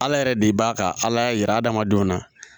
Ala yɛrɛ de b'a ka ala yira hadamadenw na